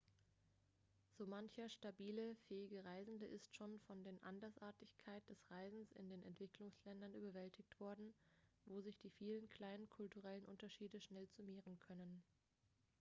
so mancher stabile fähige reisende ist schon von der andersartigkeit des reisens in den entwicklungsländern überwältigt worden wo sich die vielen kleinen kulturellen unterschiede schnell summieren können